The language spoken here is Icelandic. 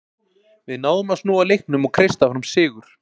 Við náðum að snúa leiknum og kreista fram sigur.